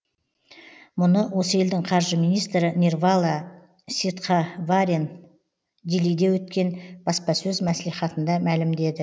мұны осы елдің қаржы министрі нирвала ситхаварен делиде өткен баспасөз маслихатында мәлімдеді